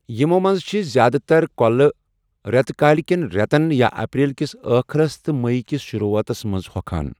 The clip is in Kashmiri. یِمَو منٛز چھِ زِیٛادٕ تَر كو٘لہٕ رٮ۪تہٕ کٲلہِ کٮ۪ن رٮ۪تَن یا اپریل کِس ٲخرَس تہٕ مئی کِس شروٗعاتَس منٛز ہۄکھان۔